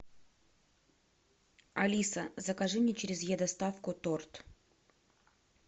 алиса закажи мне через е доставку торт